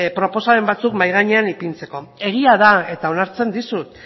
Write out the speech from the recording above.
proposamen batzuk mahai gainean ipintzeko egia da eta onartzen dizut